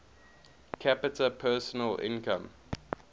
capita personal income